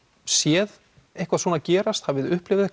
sé eitthvað svona gerast hafið þið upplifað